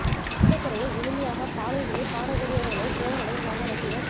சொந்த குரலில் இனிமையாக பாடல்களைப் பாடக் கூடியவர் களே சிறந்த நடிகர்களாக ரசிகர்